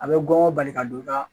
A bɛ gɔngɔ bali ka don ka